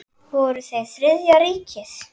Voru þeir Þriðja ríkið?